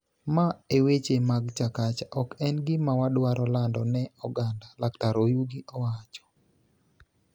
ma e weche mag Chakacha ok en gima wadwaro lando ne oganda, Laktar Oyugi wacho